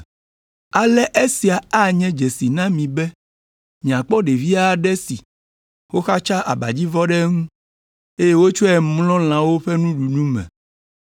Ale esia anye dzesi na mi be miakpɔ ɖevi aɖe si woxatsa abadzivɔ ɖe eŋu, eye wotsɔe mlɔ lãwo ƒe nuɖunu me.”